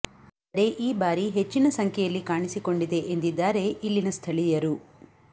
ಆದರೆ ಈ ಬಾರಿ ಹೆಚ್ಚಿನ ಸಂಖ್ಯೆಯಲ್ಲಿ ಕಾಣಿಸಿಕೊಂಡಿದೆ ಎಂದಿದ್ದಾರೆ ಇಲ್ಲಿನ ಸ್ಥಳೀಯರು